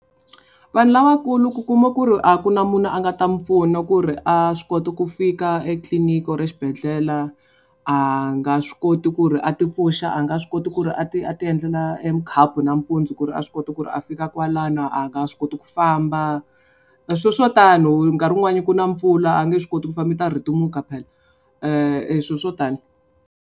Vanhu lavakulu ku kuma ku ri a ku na munhu a nga ta mi pfuna ku ri a swi koti ku fika etliliniki or xibedhlele a nga swi koti ku ri a tipfuxa a nga swi koti ku ri a ti a ti endlela e mukhapu nampundzu ku ri a swi kota ku ri a fika kwalano a nga swi koti ku famba. Swilo swo tano hi nkarhi wun'wani ku na mpfula a nge swi koti ku famba i ta rhetemuka phela swilo swo tani.